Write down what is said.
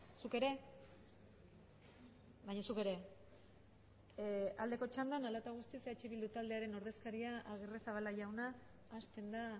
zuk ere baina zuk ere aldeko txandan hala eta guztiz eh bildu taldearen ordezkaria agirrezabala jaunak hasten da